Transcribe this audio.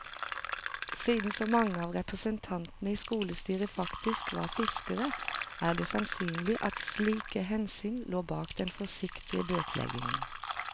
Siden så mange av representantene i skolestyret faktisk var fiskere, er det sannsynlig at slike hensyn lå bak den forsiktige bøteleggingen.